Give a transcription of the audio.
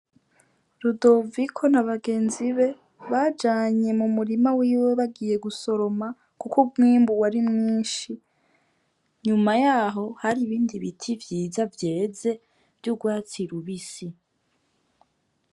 Rudoviko ni abagenzi be bajanye mu murima wiwe bagiye gusoroma, kuko umwimbu w ari mwinshi nyuma yaho hari ibindi biti vyiza vyeze vy'urwatsira ubisi.